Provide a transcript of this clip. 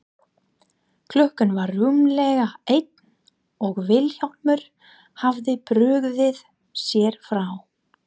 Klukkan var rúmlega eitt og Vilhjálmur hafði brugðið sér frá.